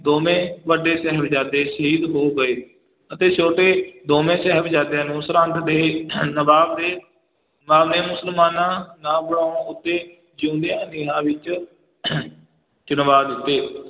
ਦੋਵੇਂ ਵੱਡੇ ਸਾਹਿਬਜ਼ਾਦੇ ਸ਼ਹੀਦ ਹੋ ਗਏ ਅਤੇ ਛੋਟੇ ਦੋਵੇਂ ਸਾਹਿਬਜ਼ਾਦਿਆਂ ਨੂੰ ਸਰਹੰਦ ਦੇ ਨਵਾਬ ਨੇ ਨਵਾਬ ਨੇ ਮੁਸਲਮਾਨਾ ਨਾ ਬਣਾਉਣ ਉੱਤੇ ਜਿਉਂਦਿਆਂ ਨੀਹਾਂ ਵਿੱਚ ਚਿਣਵਾ ਦਿੱਤੇ।